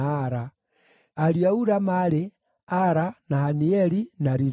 Ariũ a Ula maarĩ: Ara, na Hanieli, na Rizia.